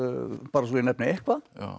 svo ég nefni eitthvað